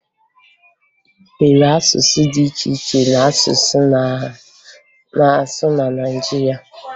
E nwere asụsụ dị iche iche a na-asụ na Naịjirịa